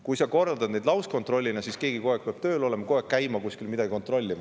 Kui sa korraldad lauskontrolle, siis peab keegi kogu aeg tööl olema ja käima kuskil midagi kontrollimas.